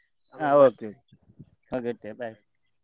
ಹ okay okay okay ಇಡ್ತಿಯ bye .